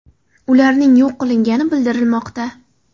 Ularning yo‘q qilingani bildirilmoqda.